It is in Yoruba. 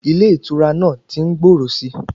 Ilé ìtura náà tí ń gbòòrò síi.